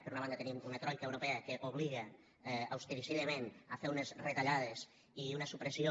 per una banda tenim una troica europea que obliga austericidament a fer unes retallades i una supressió